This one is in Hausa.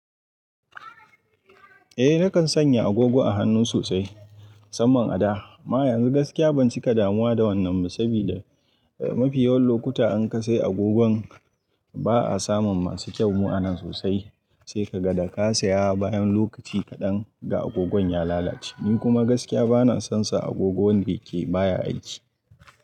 Eh nakan sanya agogo a hannu sosai mu samman a da. Ma yanzu gaskiya ban cika damuwa da wannan ba saboda mafi yawan lokuta in ka sai agogon ba'a samun masu kyau mu'anan sosai. Sai ka ga da ka saya bayan lokaci kaɗan da agogon ya lalace. Ni kuma gaskiya bana son sa agogo wanda ke baya aiki.